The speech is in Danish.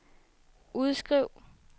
udskriv